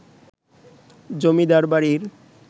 জমিদার বাড়ির